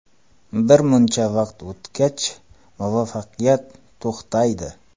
Birmuncha vaqt o‘tgach, muvaffaqiyat to‘xtaydi.